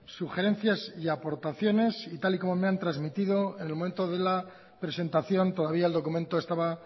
sugerencias y aportaciones y tal y como me han trasmitido en el momento de la presentación todavía el documento estaba